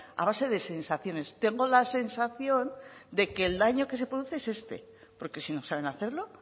a base de sensaciones tengo la sensación de que el daño que se produce es este porque si no saben hacerlo